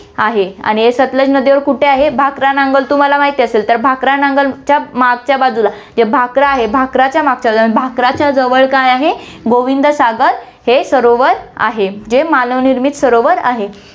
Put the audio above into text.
आहे. आणि हे सतलज नदीवर कुठे आहे, भाकरा नांगल तुम्हाला माहिती असेल, तर भाकरा नांगलच्या मागच्या बाजूला, म्हणजे भाकरा आहे भाकराच्या मागच्या बाजूला, भाकरच्या जवळ काय आहे, गोविंद सागर हे सरोवर आहे, जे मानव निर्मित सरोवर आहे.